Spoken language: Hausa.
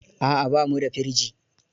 A'a, ba mu da firji.